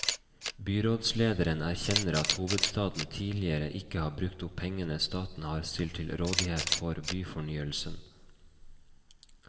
Byrådslederen erkjenner at hovedstaden tidligere ikke har brukt opp pengene staten har stilt til rådighet for byfornyelse.